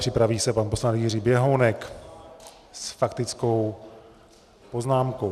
Připraví se pan poslanec Jiří Běhounek s faktickou poznámkou.